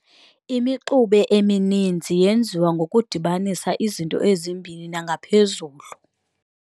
Imixube emininzi yenziwa ngokudibanisa izinto ezimbini nangaphezulu.